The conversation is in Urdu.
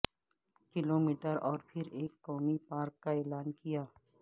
کلومیٹر اور پھر ایک قومی پارک کا اعلان کیا